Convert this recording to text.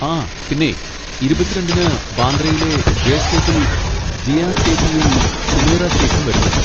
ആ പിന്നെ ഇരുപത്തി രണ്ടിന് ബാന്ദ്രയിലെ ജെ സ്പോട്ടിൽ ജീയാ സേത്തിയും സുമൈറ ശൈഖും വരുന്നുണ്ട്.